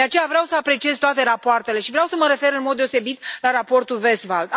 De aceea vreau să apreciez toate rapoartele și vreau să mă refer în mod deosebit la raportul Westphal.